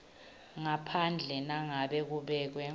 ngaphandle nangabe kubekwe